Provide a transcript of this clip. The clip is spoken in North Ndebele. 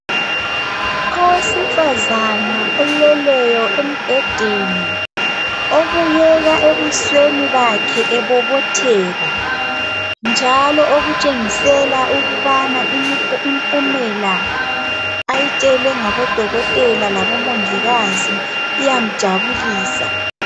Owesifazana oleleyo embhedeni obukeka ebusweni bakhe ebobotheka njalo okutshengisela ukubana impumela ayitshelwe ngabodokotela labo mongikazi iyamjabulisa.